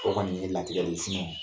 O kɔni ye latigɛ de ye